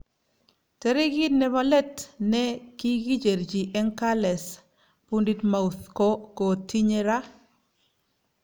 Tarikit nepo let ne kikicherchi eng carles puigddmount ko kotinye ra